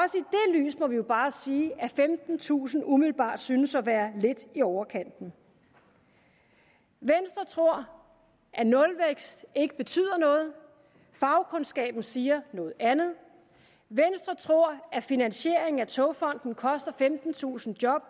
lys må vi jo bare sige at femtentusind umiddelbart synes at være lidt i overkanten venstre tror at nulvækst ikke betyder noget fagkundskaben siger noget andet venstre tror at finansiering af togfonden dk koster femtentusind job